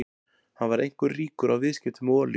Hann varð einkum ríkur á viðskiptum með olíu.